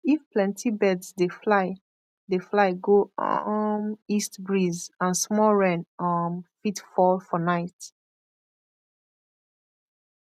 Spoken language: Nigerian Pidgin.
if plenty birds dey fly dey fly go um east breeze and small rain um fit fall for night